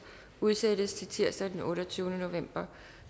udsættes til tirsdag den otteogtyvende november